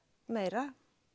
meira